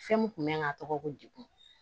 Fɛn mun kun bɛ n kan ka tɔgɔ ko degun